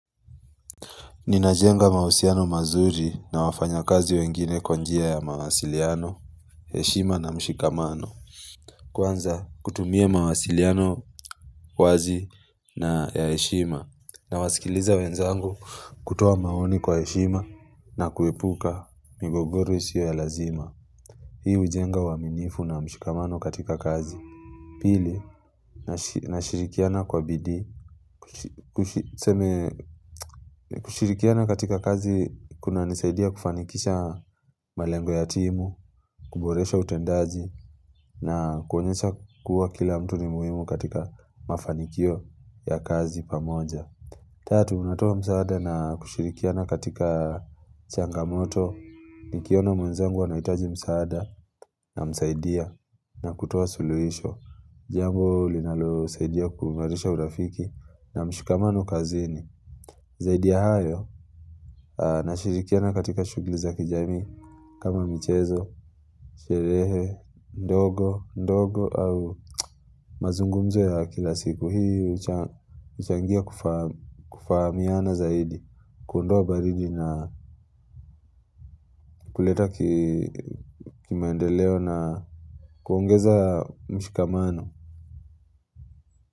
Ninajenga mahusiano mazuri na wafanya kazi wengine kwa njia ya mawasiliano, heshima na mshikamano. Kwanza kutumia mawasiliano wazi na ya heshima nawasikiliza wenzangu kutoa maoni kwa heshima na kuepuka migogoro isiyo ya lazima. Hii hujenga uaminifu na mshikamano katika kazi. Pili, nashirikiana kwa bidii. Kushirikiana katika kazi kunanisaidia kufanikisha malengo ya timu, kuboresha utendaji na kuonyesha kuwa kila mtu ni muhimu katika mafanikio ya kazi pamoja. Tatu, unatoa msaada na kushirikiana katika changamoto nikiona mwenzangu anahitaji msaada namsaidia na kutoa suluhisho. Jambo linalosaidia kuunganisha urafiki na mshikamano kazini. Zaidi ya hayo nashirikiana katika shughuli za kijamii kama michezo, sherehe ndogo ndogo au mazungumzo ya kila siku. Hii huchangia kufahamiana zaidi, kuondoa baridi na kuleta kimaendeleo na kuongeza mshikamano.